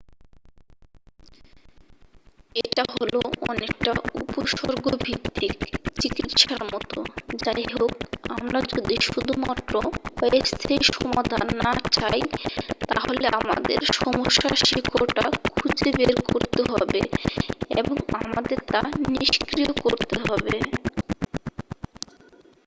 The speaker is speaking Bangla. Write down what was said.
এটা হল অনেকটা উপসর্গভিত্তিক চিকিৎসার মতো যাইহোক আমরা যদি শুধুমাত্র অস্থায়ী সমাধান না চাই তাহলে আমাদের সমস্যার শিকড়টা খুঁজে বের করতে হবে এবং আমাদের তা নিষ্ক্রিয় করতে হবে